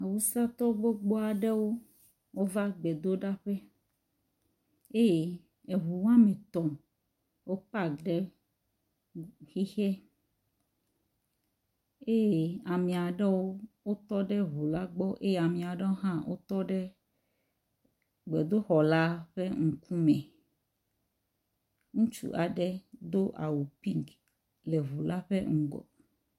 Awusatɔ gbogbo aɖewo va gbedoɖaƒe eye eŋu eme etɔ̃ wo pak ɖe xixe eye ame aɖewo wotɔ ɖe ŋu la gbɔ eye ame aɖewo hã wotɔ ɖe gbedoxɔ la ƒe ŋkume. Ŋutsu aɖe do awu piŋki le ŋu la ƒe ŋgɔ.